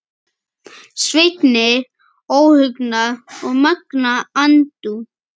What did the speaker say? Sveini óhugnað og megna andúð.